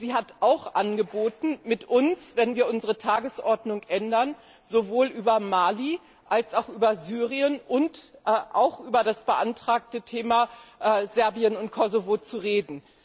Und sie hat auch angeboten, mit uns, wenn wir unsere Tagesordnung ändern, sowohl über Mali als auch über Syrien und auch über das beantragte Thema Serbien und Kosovo zu reden.